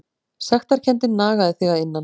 Sektarkenndin nagaði þig að innan.